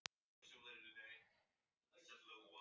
Þau eiga að fara í bræðslu á morgun.